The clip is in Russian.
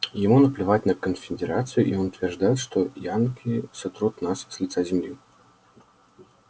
ему наплевать на конфедерацию и он утверждает что янки сотрут нас с лица земли